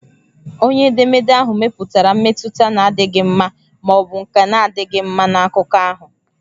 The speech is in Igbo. Onye edemede ahụ mepụtara mmetụta na-adịghị mma ma ọ bụ nke na-adịghị mma na akụkọ ahụ.